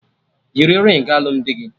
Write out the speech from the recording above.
Yiri ringị alụmdi gị!